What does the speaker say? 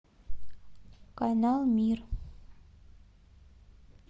канал мир